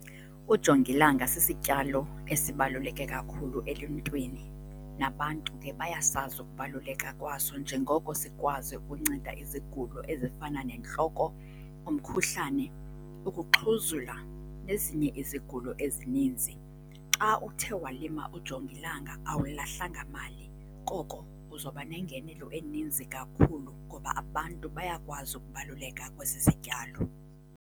Ujongilanga sisityalo esibaluleke kakhulu eluntwini. Nabantu ke bayasazi ukubaluleka kwaso njengoko sikwazi ukunceda izigulo ezifana nentloko, umkhuhlane, ukuxhuzula, nezinye izigulo ezininzi. Xa uthe walima ujongilanga awulahlanga mali. Koko uza kuba nengenelo eninzi kakhulu ngoba abantu bayakwazi ukubaluleka kwesi sityalo.